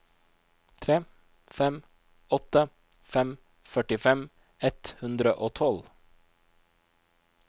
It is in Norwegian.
tre fem åtte fem førtifem ett hundre og tolv